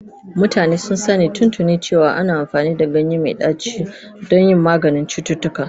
Mutane sun san tuntuni cewa ana amfani da ganye mai ɗaci don yin maganin cututtuka.